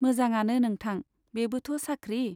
मोंजांआनो नोंथां , बेबोथ' साख्रि।